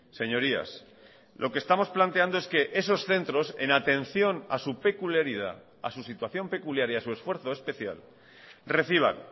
señorías lo que estamos planteando es que esos centros en atención a su peculiaridad a su situación peculiar y a su esfuerzo especial reciban